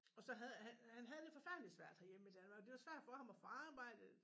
Og så havde han havde det forfærdelig svært herhjemme i Danmark det var svært for ham at få arbejde